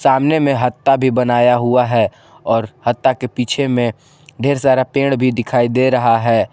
सामने में हत्ता भी बनाया हुआ है और हत्ता के पीछे में ढेर सारा पेड़ भी दिखाई दे रहा है।